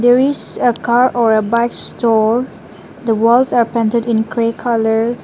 there is a car or a bike store the walls are painted in grey colour.